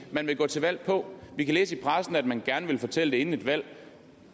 de vil gå til valg på vi kan læse i pressen at man gerne vil fortælle det inden et valg